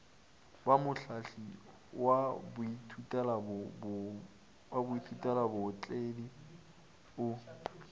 ba mohlahli wa baithutelabootledi o